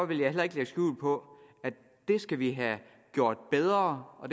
vil jeg heller ikke lægge skjul på at det skal vi have gjort bedre og